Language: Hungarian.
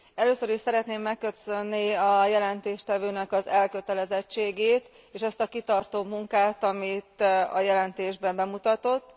Először is szeretném megköszönni a jelentéstevőnek az elkötelezettségét és ezt a kitartó munkát, amit a jelentésben bemutatott.